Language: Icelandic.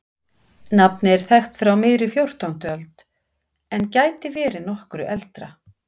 nafnið er þekkt frá miðri fjórtándu öld en gæti verið nokkru eldra